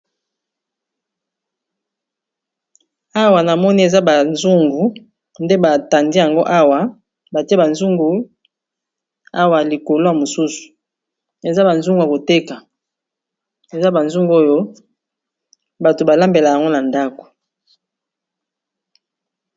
awa na moni eza bazungu nde batandi yango awa batie bazungu awa likolo ya mosusu eza bazungu ya koteka eza bazungu oyo bato balambela yango na ndako